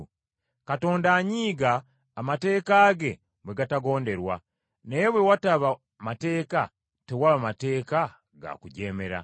Katonda anyiiga Amateeka ge bwe gatagonderwa. Naye bwe wataba mateeka, tewaba mateeka ga kujeemera.